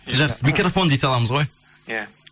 жақсы микрофон дей саламыз ғой иә